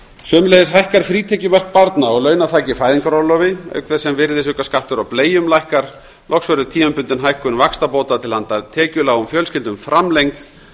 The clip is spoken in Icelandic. sömuleiðis hækkar frítekjumark barna og launaþak í fæðingarorlofi auk þess sem virðisaukaskattur á bleium lækkar loks verður tímabundin hækkun vaxtabóta til handa tekjulágum fjölskyldum framlengd